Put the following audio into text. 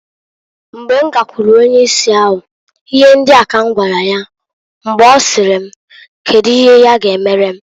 Mgbe m gakwuru onye isi ahu, ihe ndia ka m gwara ya mgbe ọsịrị m kedu ihe ya ga emere m.